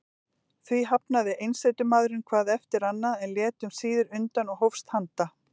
Því hafnaði einsetumaðurinn hvað eftir annað, en lét um síðir undan og hófst handa.